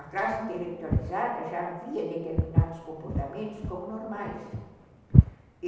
A classe intelectualizada já via determinados comportamentos como normais.